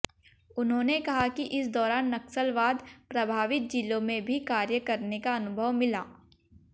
उन्होंने कहा कि इस दौरान नक्सलवाद प्रभावित जिलों में भी कार्य करने का अनुभव मिला